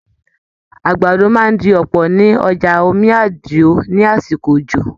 Àgbàdo máa di ọpọ ní ọjà Omí Àdìó ní àsìkò òjò.